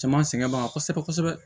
Caman sɛgɛn b'an kan kosɛbɛ kosɛbɛ